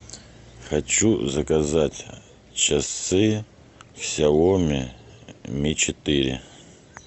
хочу заказать часы сяоми ми четыре